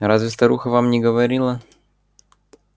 разве старуха вам не говорила